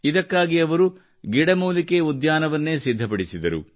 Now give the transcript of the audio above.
ಇದಕ್ಕಾಗಿ ಅವರು ಗಿಡಮೂಲಿಕೆ ಉದ್ಯಾನವನ್ನೇ ಸಿದ್ಧಪಡಿಸಿದರು